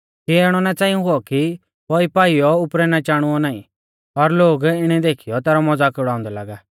कियै इणौ ना च़ांई हुऔ कि पौई पाईयौ उपरै ना चाणुऔ नाईं और लोग इणै देखीयौ तेसरौ मज़ाक उड़ाउंदै लागा